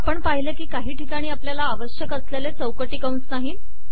आपण पहिले की काही ठिकाणी आपल्याला आवश्यक असलेले चौकटी कंस नाहीत